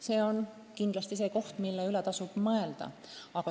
See on kindlasti teema, mille üle tasub mõelda.